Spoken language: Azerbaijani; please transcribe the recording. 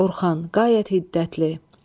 Orxan qayət hiddətli.